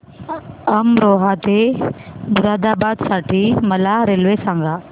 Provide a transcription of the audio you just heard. अमरोहा ते मुरादाबाद साठी मला रेल्वे सांगा